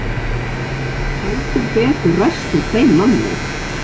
Það hefur heldur betur ræst úr þeim manni!